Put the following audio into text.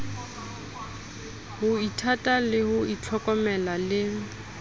ho ithata ho ithlokomela le